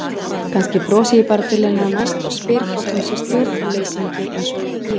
Kannski brosi ég bara til hennar næst og spyr hvort hún sé stjórnleysingi einsog ég.